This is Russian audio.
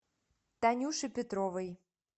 танюше петровой